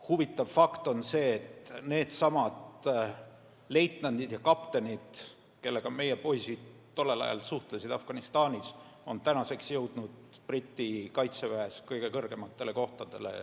Huvitav fakt on see, et needsamad leitnandid ja kaptenid, kellega koos meie poisid tollel ajal Afganistanis suhtlesid, on tänaseks jõudnud Briti kaitseväe staapides kõige kõrgematele kohtadele.